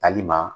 Tali ma